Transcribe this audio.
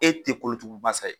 E te kolotugu masa ye.